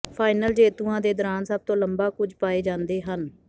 final ਜੇਤੂਆਂ ਦੇ ਦੌਰਾਨ ਸਭ ਤੋਂ ਲੰਬਾ ਕੁੱਝ ਪਾਏ ਜਾਂਦੇ ਹਨ